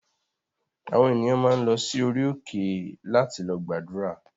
Àwọn ènìyàn máa ń lọ sí orí òkè láti lọ gbàdúrà